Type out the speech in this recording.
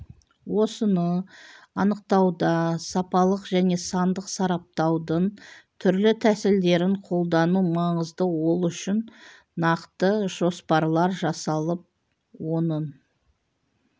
осыны анықтауда сапалық және сандық сараптаудың түрлі тәсілдерін қолдану маңызды ол үшін нақты жоспарлар жасалып оның